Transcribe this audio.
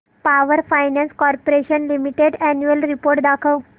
power finance corporation limited annual report दाखव